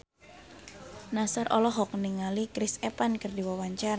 Nassar olohok ningali Chris Evans keur diwawancara